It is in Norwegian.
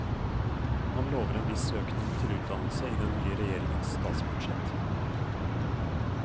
Han lover en viss økning til utdannelse i den nye regjeringens statsbudsjett.